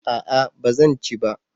a'a ba zan ci ba